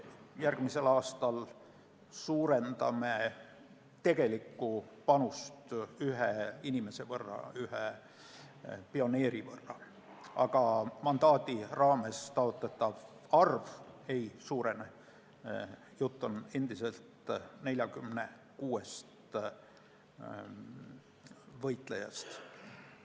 Järgmisel aastal suurendame tegelikku panust ühe inimese, ühe pioneeri võrra, aga mandaadi raames taotletav arv ei suurene, jutt on endiselt 46 võitlejast.